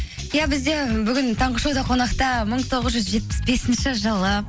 иә бізде бүгін таңғы шоуда қонақта мың тоғыз жүз жетпіс бесінші жылы